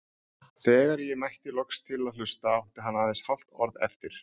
Þegar ég mætti loks til að hlusta átti hann aðeins hálft orð eftir.